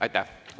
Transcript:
Aitäh!